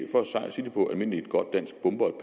sige det på almindeligt godt dansk bomber